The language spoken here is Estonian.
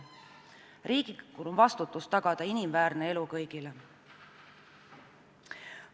Riik vastutab selle eest, et inimväärne elu oleks tagatud kõigile.